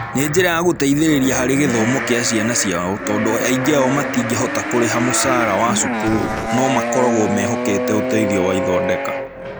Nĩ njĩra ya gũteithĩrĩria harĩ gĩthomo kĩa ciana ciao tondũ aingĩ ao matingĩhota kũrĩha mũcara wa cukuru no makoragwo mehokete ũteithio wa ithondeka.